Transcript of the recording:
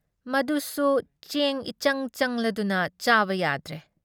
ꯃꯗꯨꯁꯨ ꯆꯦꯡ ꯏꯆꯪ ꯆꯪꯂꯗꯨꯅ ꯆꯥꯕ ꯌꯥꯗ꯭ꯔꯦ ꯫